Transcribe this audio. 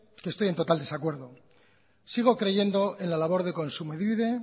que estoy en total desacuerdo sigo creyendo en la labor de kontsumobide